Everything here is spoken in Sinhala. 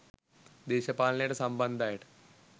දේශපාලනයට සම්බන්ධ අයට